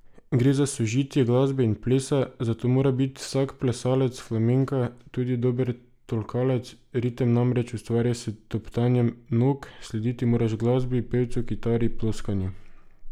Gre za sožitje glasbe in plesa, zato mora biti vsak plesalec flamenka tudi dober tolkalec, ritem namreč ustvarjaš s topotanjem nog, slediti moraš glasbi, pevcu, kitari, ploskanju.